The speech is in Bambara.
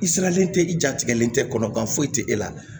I sigalen tɛ i jatigɛlen tɛ kɔnɔkan foyi tɛ e la